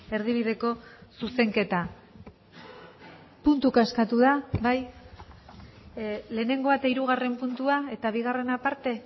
erdibideko zuzenketa puntuka eskatu da bai lehenengoa eta hirugarren puntua eta bigarrena aparte